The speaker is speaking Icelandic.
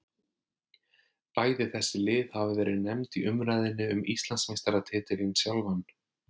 Bæði þessi lið hafa verið nefnd í umræðunni um Íslandsmeistaratitilinn sjálfan.